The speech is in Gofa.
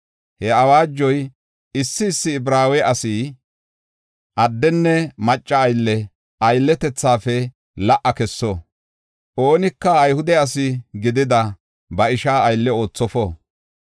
He awaajoy, issi issi Ibraawe asi addenne macca aylle aylletethafe la77a kesso. Oonika Ayhude asi gidida ba ishaa aylle oothofo.